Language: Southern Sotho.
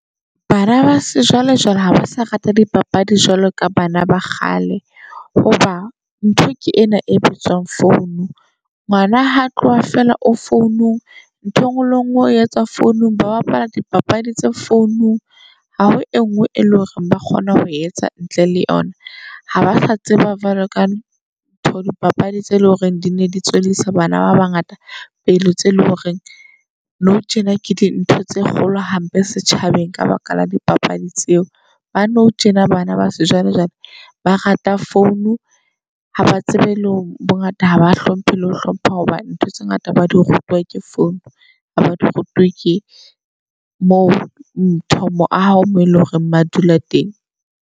Bana ba se jwale jwale ha ba sa rate dipapadi jwalo ka bana ba kgale. Hoba ntho ke ena e bitswang phone. Ngwana ha tloha feela o founong ntho engwe le ngwe o etsa founung, ba bapala dipapadi tse founung. Ha ho e ngwe e leng hore ba kgona ho etsa ntle le yona, ha ba sa tseba jwalo ka ntho dipapadi tse leng hore di ne di tswellisa bana ba bangata pele. Tse leng hore nou tjena ke dintho tse kgolo hampe setjhabeng ka baka la dipapadi tseo. Ba nou tjena bana ba sejwalejwale ba rata phone ha ba tsebe le hore bongata haba hlomphe le ho hlompha. Hobane ntho tse ngata ba di rutwa ke phone ba ba di rutuwe ke mo ntho mo aho mo eleng hore ba dula teng.